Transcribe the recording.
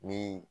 Ni